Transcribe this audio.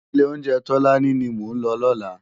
Ilé óunjè Tolani ni mó n lò lòlá